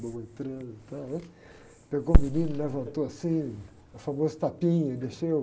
Pegou o menino, levantou assim, o famoso tapinha, deixou.